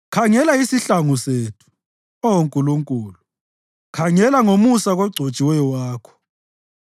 Khangela isihlangu sethu, Oh Nkulunkulu; khangela ngomusa kogcotshiweyo wakho.